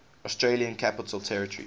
australian capital territory